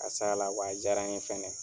K'a s'a la wa a jaara n ye fɛnɛ.